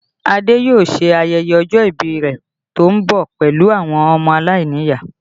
Ade yóò ṣe ayẹyẹ ọjọ́ ìbí rẹ tó ń bọ̀ pẹ̀lú àwọn ọmọ aláìníyàá